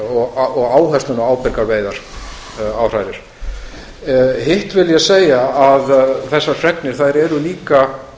og áhersluna á ábyrgar veiðar áhrærir hitt vil ég segja að þessar fregnir eru líka